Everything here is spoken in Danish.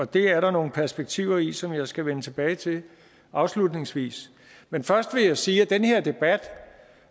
det er der nogle perspektiver i som jeg skal vende tilbage til afslutningsvis men først vil jeg sige at den her debat